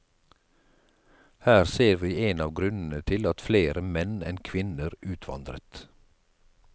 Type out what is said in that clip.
Her ser vi en av grunnene til at flere menn enn kvinner utvandret.